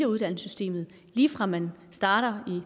uddannelsessystemet lige fra man starter